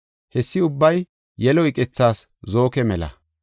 Hessi ubbay yelo iqethas zooke mela.